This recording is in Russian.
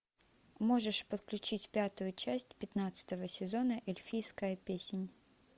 можешь подключить пятую часть пятнадцатого сезона эльфийская песнь